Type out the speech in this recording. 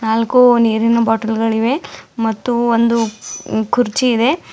ನಾಲ್ಕು ನೀರಿನ ಬಾಟಲ್ ಗಳಿವೆ ಮತ್ತು ಒಂದು ಕುರ್ಚಿ ಇದೆ.